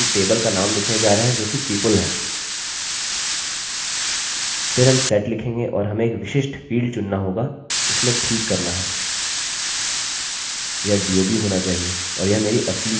यह dob होना चाहिए और यह मेरी असली जन्म तिथि के बराबर है जोकि 1989 है वर्ष जिसमे मैंने जन्म लिया और महीना नवम्बर है और दिन 16वाँ जिस दिन मैंने जन्म लिया